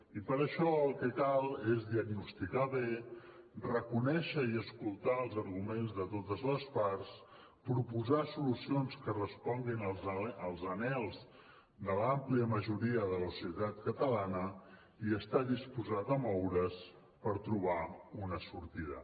i per això el que cal és diagnosticar bé reconèixer i escoltar els arguments de totes les parts proposar solucions que responguin als anhels de l’àmplia majoria de la societat catalana i estar disposat a moure’s per trobar una sortida